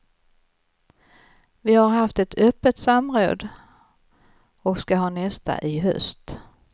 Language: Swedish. Vi har haft ett öppet samråd och ska ha nästa i höst.